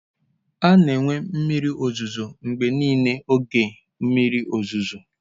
A na-enwe mmiri ozuzo mgbe niile n'oge mmiri ozuzo.